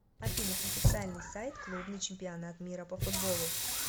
афина официальный сайт клубный чемпионат мира по футболу